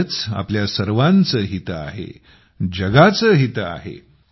यातच आपल्या सर्वांचे हित आहे जगाचे हित आहे